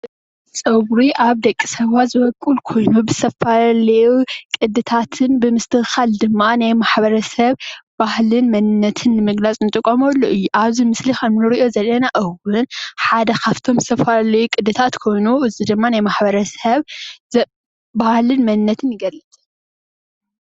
ፀጉሪ ኣብ ደቂሰባት ዝቦቁል ኾይኑ ብዝተፈላለዩ ቅድታትን ብምስተኻኸል ድማ ናይ ማሕበረሰብ ባህልን መንነትን ንምግላፅ እንጥቀመሉ እዩ። ናይ ማሕበረሰብ ባህልን መንነትን ይገልፅ።